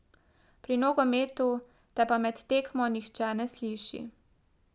Pri nogometu te pa med tekmo nihče ne sliši.